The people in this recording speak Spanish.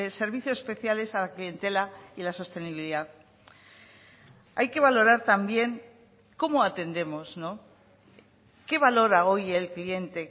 servicios especiales a la clientela y la sostenibilidad hay que valorar también cómo atendemos qué valora hoy el cliente